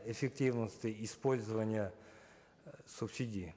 эффективности использования э субсидий